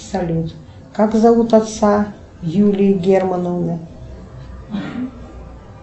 салют как зовут отца юлии германовны